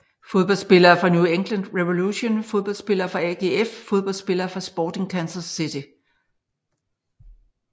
Fodboldspillere fra New England Revolution Fodboldspillere fra AGF Fodboldspillere fra Sporting Kansas City